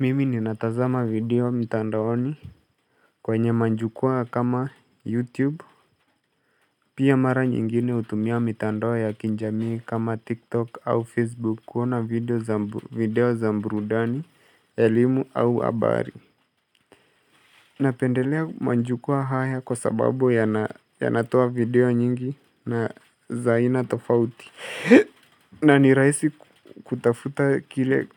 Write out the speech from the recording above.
Mimi ninatazama video mtandaoni kwenye majukwaa kama youtube pia mara nyingine hutumia mitandao ya kijamii kama tiktok au facebook kuona video za burudani, elimu au habari. Napendelea majukwaa haya kwa sababu yanatoa video nyingi na za aina tofauti. Na ni rahisi kutafuta kile